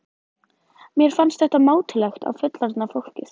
Mér fannst þetta mátulegt á fullorðna fólkið.